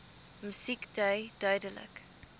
musiek dui duidelik